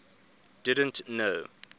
didn t know